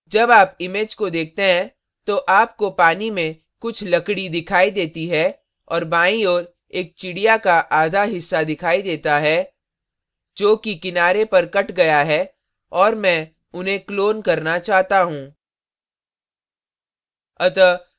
जब आप image को देखते हैं तो आपको पानी में कुछ लकड़ी दिखाई देती है और बाईं ओर एक चिड़िया का आधा हिस्सा दिखाई देता है जो कि किनारे पर cut गया है और मैं उन्हें clone करना चाहता हूँ